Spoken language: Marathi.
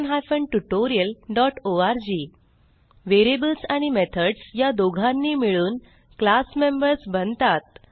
httpspoken tutorialओआरजी व्हेरिएबल्स आणि मेथड्स ह्या दोघांनी मिळून क्लास मेंबर्स बनतात